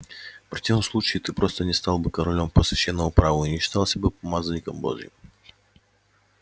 в противном случае ты просто не стал бы королём по священному праву и не считался бы помазанником божьим